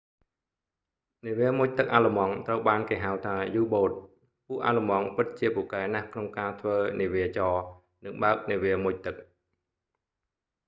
នាវាមុជទឹកអាល្លឺម៉ង់ ត្រូវបានគេហៅថា u-boats ពួកអាល្លឺម៉ង់ ពិតជាពូកែណាស់ក្នុងការធ្វើនាវាចរ និងបើកនាវាមុជទឹក